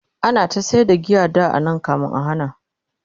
ana ta sayar da giya anan da kamin a hana